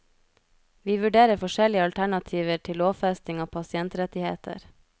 Vi vurderer forskjellige alternativer til lovfesting av pasientrettigheter.